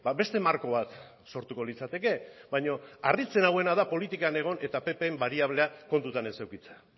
beste marko bat sortuko litzateke baina harritzen nauena da politikan egon eta pp bariablea kontutan ez edukitzea